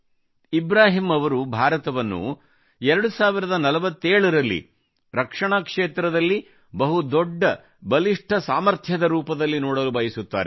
ಇಬ್ರಾಹಿಂ ಅವರು ಭಾರತವನ್ನು 2047 ರಲ್ಲಿ ರಕ್ಷಣಾ ಕ್ಷೇತ್ರದಲ್ಲಿ ಬಹುದೊಡ್ಡ ಬಲಿಷ್ಠ ಸಾಮರ್ಥ್ಯದ ರೂಪದಲ್ಲಿ ನೋಡಲು ಬಯಸುತ್ತಾರೆ